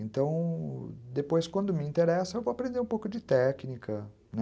Então, depois, quando me interessa, eu vou aprender um pouco de técnica,